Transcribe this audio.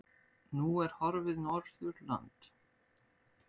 Nú er horfið Norðurland.